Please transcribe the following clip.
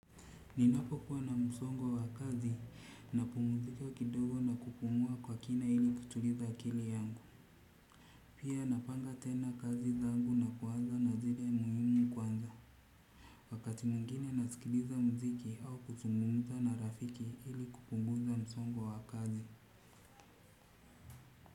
Ninapokuwa na msongo wa kazi napumzika kidogo na kupumua kwa kina ili kutuliza akili yangu. Pia napanga tena kazi zangu na kuanza na zile muhimu kwanza. Wakati mwingine nasikiliza muziki au kuzungumza na rafiki ili kupunguza msongo wa kazi.